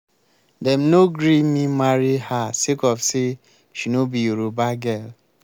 dem no gree me marry her sake of say she no be yoruba girl.